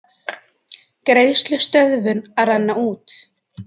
Greiðslustöðvun að renna út